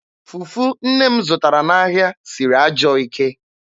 Fufu nne m zụtara n'ahịa siri ajọọ ike.